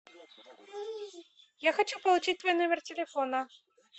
я хочу получить твой номер телефона